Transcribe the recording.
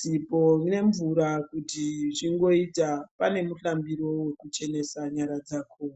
sipo nemvura kuti zvingoita, pane muhlambiro wokuchenesa nyara dzako.